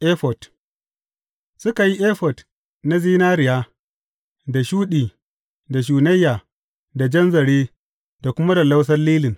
Efod Suka yi efod na zinariya, da shuɗi, da shunayya, da jan zare, da kuma lallausan lilin.